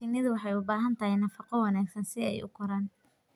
Shinnidu waxay u baahan tahay nafaqo wanaagsan si ay u koraan.